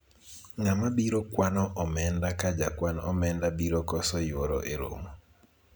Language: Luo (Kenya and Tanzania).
ng'ama biro kwano omenda ka jakwan omenda biro koso yuoro e romo